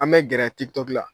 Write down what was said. An bɛ gɛrɛ tik tɔk la